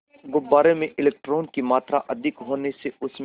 गुब्बारे में इलेक्ट्रॉनों की मात्रा अधिक होने से उसमें